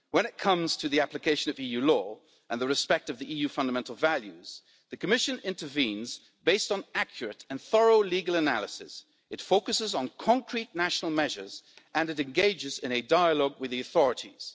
When it comes to the application of EU law and the respect of the EU's fundamental values, the Commission intervenes based on accurate and thorough legal analysis, it focuses on concrete national measures and it engages in a dialogue with the authorities.